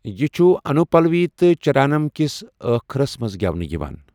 یہِ چھُ انوپلوی تہٕ چَرانم کِس ٲخرس منٛز گٮ۪ونہٕ یِوان۔